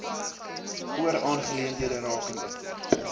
oor aangeleenthede rakende